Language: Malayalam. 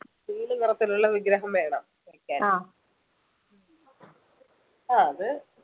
നീല നിറത്തിലുള്ള വിഗ്രഹം വേണം ആഹ് അത്